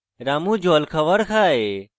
রামু জল খাওয়ার খায়